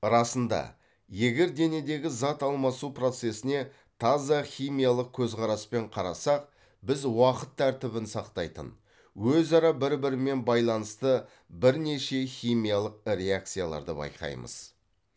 расында егер денедегі зат алмасу процесіне таза химиялық көзқараспен қарасақ біз уақыт тәртібін сақтайтын өзара бір бірімен байланысты бірнеше химиялық реакцияларды байқаймыз